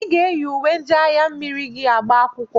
I ga-eyi uwe ndị agha mmiri gị agba akwụkwọ!